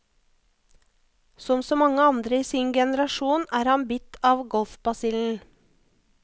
Som så mange andre i sin generasjon er han bitt av golfbasillen.